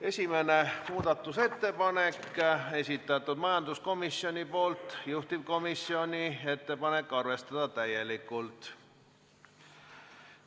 Esimese muudatusettepaneku on esitanud majanduskomisjon ja juhtivkomisjoni ettepanek on arvestada seda täielikult.